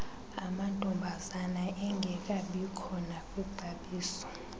amantombazana engekabikho nakwixabiso